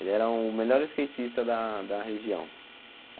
Ele era o melhor skatista da da região.